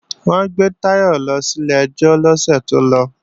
Wọ́n gbé Táyọ̀ lọ sílé ẹjọ́ lọ́sẹ̀ tó lọ